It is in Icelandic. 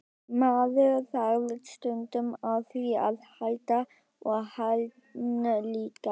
Maður þarf stundum á því að halda og hann líka.